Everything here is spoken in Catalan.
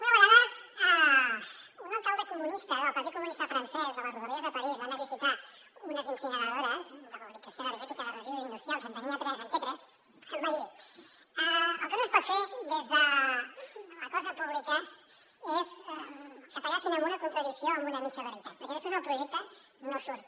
una vegada un alcalde comunista del partit comunista francès de les rodalies de parís anant a visitar unes incineradores de valorització energètica de residus industrials en tenia tres en té tres em va dir el que no es pot fer des de la cosa pública és que t’agafin amb una contradicció o amb una mitja veritat perquè després el projecte no surt